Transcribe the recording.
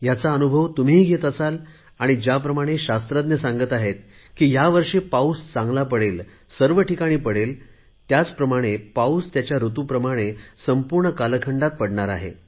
ह्याचा अनुभव तुम्हीही घेत असाल आणि ज्याप्रमाणे शास्त्रज्ञ सांगत आहेत की ह्या वर्षी पाऊस चांगला पडेल सर्व ठिकाणी पडेल त्याचप्रमाणे पाऊस त्याच्या ऋतुप्रमाणे संपूर्ण कालखंडात पडणार आहे